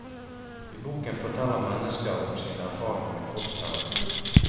I boken forteller mennesker om sine erfaringer med kroppsterapi.